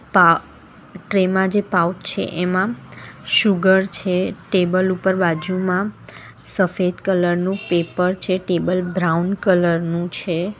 પા ટ્રે માં જે પાઉચ છે એમાં સુગર છે ટેબલ ઉપર બાજુમાં સફેદ કલર નું પેપર છે ટેબલ બ્રાઉન કલર નું છે.